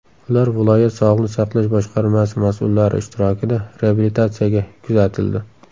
Ular viloyat Sog‘liqni saqlash boshqarmasi mas’ullari ishtirokida reabilitatsiyaga kuzatildi.